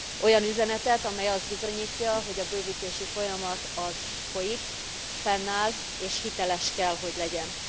Olyan üzenetet, ami azt bizonyítja, hogy a bővítési folyamat folyik, fennáll és hiteles kell, hogy legyen.